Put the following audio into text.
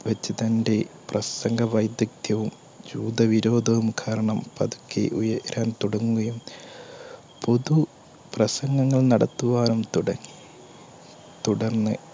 വെച്ച് തന്നെ പ്രസംഗ വൈദ്യക്തവും ജൂത വിരോധവും കാരണം പതുക്കെഉയരാൻ തുടങ്ങുകയും പൊതു പ്രസംഗങ്ങൾ നടത്തുവാൻ തുടങ്ങി. തുടർന്ന്